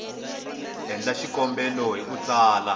endla xikombelo hi ku tsala